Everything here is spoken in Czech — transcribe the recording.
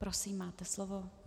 Prosím, máte slovo.